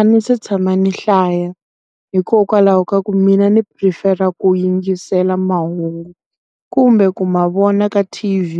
A ndzi se hlaya. Hikokwalaho ka ku mina ni phurifera ku yingisela mahungu, kumbe ku ma vona ka TV